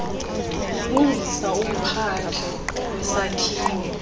ulungisa umphandle wesakhiwo